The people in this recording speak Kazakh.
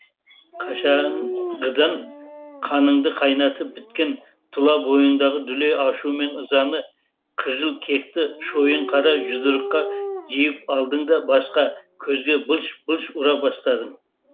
қашанғыдан қаныңды қайнатып біткен тұла бойыңдағы дүлей ашу мен ызаны қыжыл кекті шойын қара жұдырыққа жиып алдың да басқа көзге былш былш ұра бастадың